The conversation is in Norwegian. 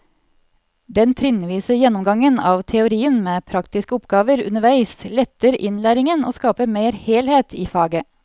Den trinnvise gjennomgangen av teorien med praktiske oppgaver underveis letter innlæringen og skaper mer helhet i faget.